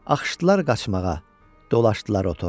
Axışdılar qaçmağa, dolaşdılar otora.